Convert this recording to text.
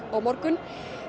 á morgun